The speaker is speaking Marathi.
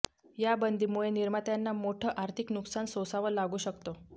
या बंदीमुळे निर्मात्यांना मोठं आर्थिक नुकसान सोसाव लागू शकतं